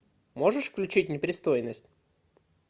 можешь включить непристойность